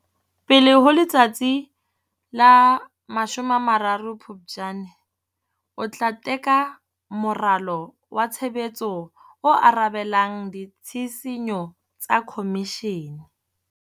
Pele ho letsatsi la 30 Phuptjane, o tla teka moralo wa tshebetso o arabelang ditshisinyo tsa Khomishene.